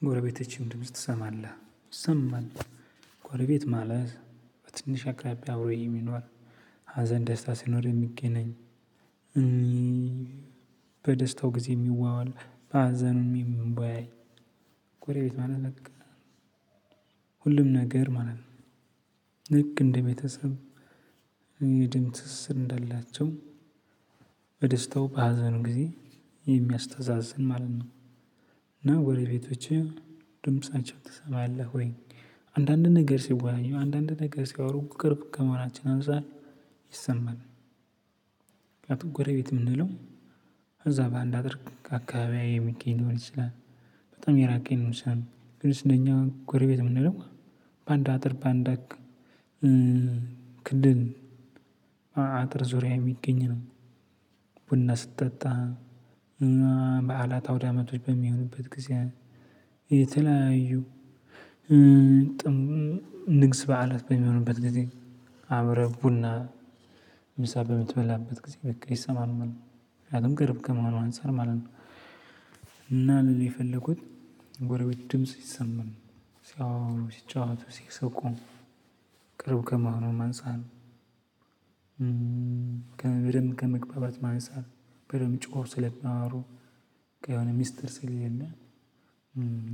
የ ጎረቤቶችህን ድምጽ ትሰማለህ ይሰማል። ጎረቤት ማለት በትንሽ አቅራቢያ አብሮ የሚኖር ሀዘን ደስታ ሲኖር የሚገናኝ እ በደስታው ጊዜ የሚዋዋል በሀዘኑ የሚወያይ ጎረቤት በቃ ሁሉም ነገር ማለት ነው። ልክ እንደ ቤተሰብ እ የደም ትስስር እንዳላቸው በደስታው በሀዘን ጊዜ የሚያስተዛዝን ማለት ነው። እና ጎረቤቶቼ ድምፃቸውን ትሰማለህ ወይ አንዳንድ ነገር ሲወያዩ አንዳንድ ነገር ሲያወሩ ቅርብ ከመሆናችን አንፃር ይሰማል። ምክንያቱም ጎረቤት የምንለው እዛ በአንድ አጥር አካባቢ የሚገኝ ሊሆን ይችላል። በጣም የራቀ ሊሆን ይችላል እኛ ጎረቤት የምንለው በአንድ አጥር በአንድ እ ክልል አጥር ዙሪያ የሚገኝ ነው። ቡና ስትጠጣ እ በዓላት አውዳመቶች በሚሆንበት ጊዜ የተለያዩ እ እ ንግስ በዓላት በሚሆንበት ጊዜ አብረህ ቡና ምሳ በምትበላበት ጊዜ በቃ ይሰማል ማለት ነው። ምክንያቱም ቅርብ ከመሆኑ አንፃር ማለት ነው። እና ልልህ የፈለኩት ጎረቤት ድምጽ ይሰማል። ሲጫወቱ ሲስቁ ቅርብ ከመሆኑም አንፃር በደንብ ከመግባባትም አንፃር ንሳት በደምብ ጮኅው ስለሚያወሩ ያው ሚስጥር ስለሌለ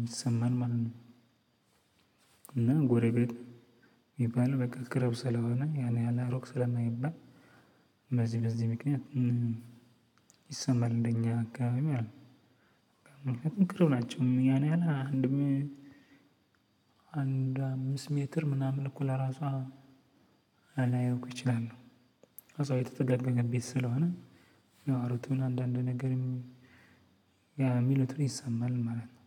ይሰማል ማለት ነው። እና ጎረቤት የሚባለው በቃ ቅርብ ስለሆነ ያን ያክል እሩቅ ስለማይባል በዚህ በዚህ ምክንያት እ ይሰማል እንደ እኛ አካባቢ ማለት ነው። ምክንያቱም ቅርብ ናቸው ያን ያህል አንድ አምስት ሜትር ምናምን እኮ ለራሱ ላይርቁ እኮ ይችላሉ እዛው የተጠጋጋ ቤት ስለሆነ የሚያወሩትን አንዳንድ ነገርም የሚሉትም ይሰማል ማለት ነው።